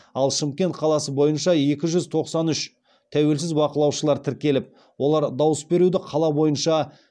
ал шымкент қаласы бойынша екі жүз тоқсан үш тәуелсіз байқаушылар тіркеліп олар дауыс беруді қала бойынша